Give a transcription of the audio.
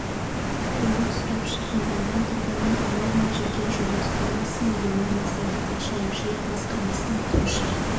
көмек сұрап шағымданған тұрғынның ала алмай жүрген жалпы сомасы милионнан асады ал ауылшаруашылық басқармасының айтуынша